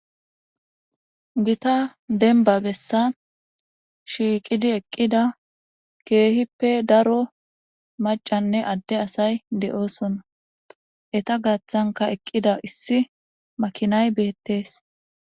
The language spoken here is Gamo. Gita demba bessan shiiqidi eqqida keehippe daro maccanne adde asay de'osona eeta gaathanka eqqida issi makinay beetes.